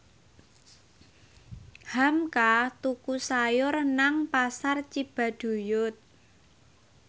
hamka tuku sayur nang Pasar Cibaduyut